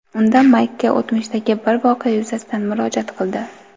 Unda Maykka o‘tmishdagi bir voqea yuzasidan murojaat qildi.